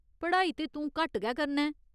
पढ़ाई ते तूं घट्ट गै करना ऐं।